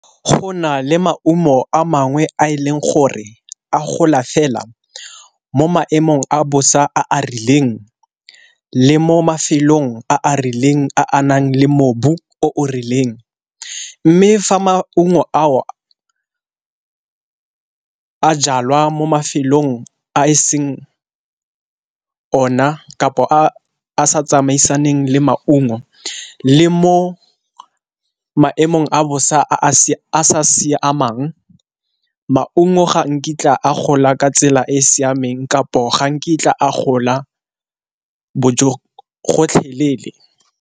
Go na le maungo a mangwe a e leng gore a gola fela mo maemong a bosa a a rileng le mo mafelong a a rileng a anang le mobu o rileng, mme fa maungo ao a jalwa mo mafelong a e seng o na, kapo a a sa tsamaisaneng le maungo le mo maemong a bosa a sa siamang. Maungo ga nkitla a gola ka tsela e e siameng kapo ga nkitla a gola gotlhelele.